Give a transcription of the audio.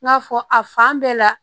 N y'a fɔ a fan bɛɛ la